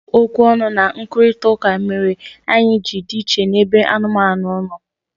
Ọ bụ okwu ọnụ na nkwurịta ụka mere anyị ji dị iche n'ebe anụmanụ no